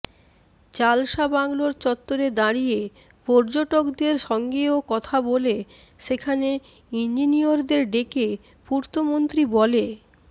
চালসা বাংলোর চত্বরে দাঁড়িয়ে পযর্টকদের সঙ্গেও কথা বলে সেখানে ইঞ্জিনিয়রদের ডেকে পূর্তমন্ত্রী বলে